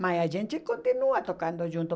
Mas a gente continua tocando junto.